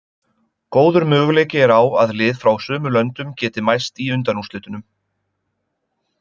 Góður möguleiki er á að lið frá sömu löndum geti mæst í undanúrslitunum.